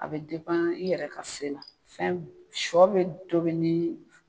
A be i yɛrɛ ka se la. Fɛn sɔ be tobi ni